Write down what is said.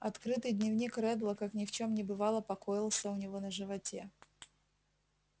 открытый дневник реддла как ни в чем не бывало покоился у него на животе